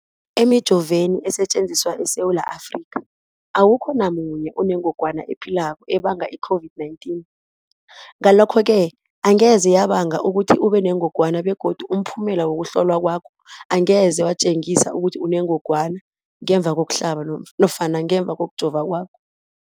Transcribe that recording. Emijoveni esetjenziswa eSewula Afrika, awukho namunye onengog wana ephilako ebanga i-COVID-19. Ngalokho-ke angeze yabanga ukuthi ubenengogwana begodu umphumela wokuhlolwan kwakho angeze watjengisa ukuthi unengogwana ngemva kokuhlaba nofana kokujova kwakho.